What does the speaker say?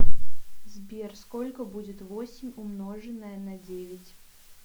сбер сколько будет восемь умноженное на девять